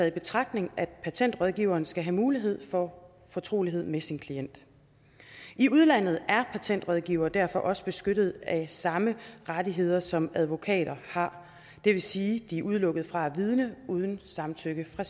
i betragtning af at patentrådgiveren skal have mulighed for fortrolighed med sin klient i udlandet er patentrådgivere derfor også beskyttet af samme rettigheder som advokater har det vil sige at de er udelukket fra at vidne uden samtykke fra